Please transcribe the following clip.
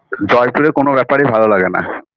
জয়পুরে কোন ব্যাপারই ভালো লাগেনা